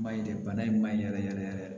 Maɲi dɛ bana in ma ɲi yɛrɛ yɛrɛ yɛrɛ